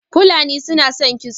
Falani su na son kitso